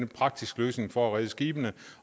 praktisk løsning for at redde skibene